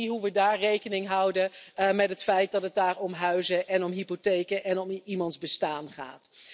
En zie hoe we daar rekening houden met het feit dat het daar om huizen en om hypotheken en om iemands bestaan gaat.